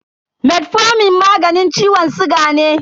Metformin magani ciwon siga ne.